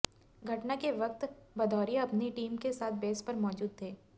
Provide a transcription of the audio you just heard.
घटना के वक्त भदौरिया अपनी टीम के साथ बेस पर मौजूद थे